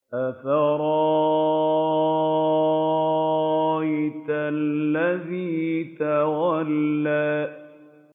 أَفَرَأَيْتَ الَّذِي تَوَلَّىٰ